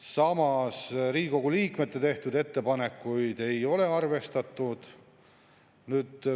Samas Riigikogu liikmete tehtud ettepanekuid ei ole arvestatud.